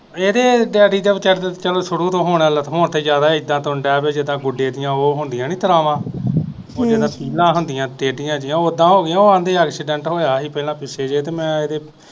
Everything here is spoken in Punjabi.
ਇਹਦੇ ਡੈਡੀ ਦੇ ਵਿਚਾਰੇ ਦੇ ਚੱਲ ਸ਼ੁਰੂ ਤੋਂ ਹੁਣ ਤੇ ਜਿਆਦਾ ਏਦਾ ਤੁਰਨ ਦੇ ਪੈ ਜੀਦਾ ਗੁਡੇ ਦੀਆਂ ਉਹ ਹੁੰਦੀਆਂ ਨੀ ਤੜਾਵਾਂ ਜੀਦਾ ਤੀਲਾਂ ਹੁੰਦੀਆਂ ਟੇਡੀਆਂ ਜਿਹੀਆਂ ਉਦਾ ਹੋਗੇ ਉਹ ਆਂਦੇ ਐਕਸੀਡੈਂਟ ਹੋਇਆ ਸੀ ਪਹਿਲਾ ਪਿੱਛੇ ਜਹੇ